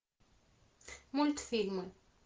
мультфильмы